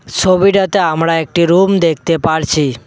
ছবিটাতে আমরা একটি রুম দেখতে পারছি।